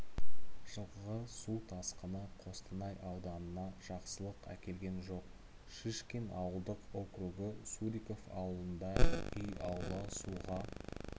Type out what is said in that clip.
жылғы су тасқыны қостанай ауданына жақсылық әкелген жоқ шишкин ауылдық округі суриков ауылында үй аула суға